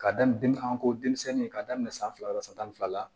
K'a daminɛ ko denmisɛnni ye k'a daminɛ san fila san tan ni fila la